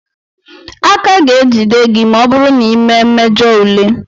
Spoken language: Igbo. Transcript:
A ka ga-ejide gị ma ọ bụrụ na ịmee mmejọ ule.